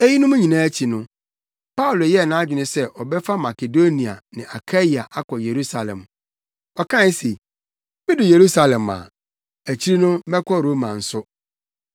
Eyinom nyinaa akyi no, Paulo yɛɛ nʼadwene sɛ ɔbɛfa Makedonia ne Akaia akɔ Yerusalem. Ɔkae se, “Midu Yerusalem a, akyiri no mɛkɔ Roma nso.”